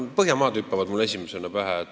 Põhjamaad hüppavad esimesena pähe.